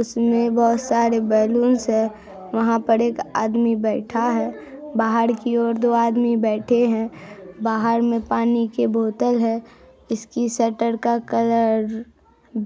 उसमे बोहुत सारे बलूंस है वहां पर एक आदमी बैठा है बाहर की ओर दो आदमी बैठे है बाहर मे पानी के बोतल है इसकी शटर का कलर